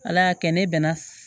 Ala y'a kɛ ne bɛna